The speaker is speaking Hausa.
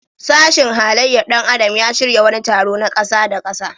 Sashin halayyar ɗan adam ya shirya wani taro na ƙasa-da-ƙasa.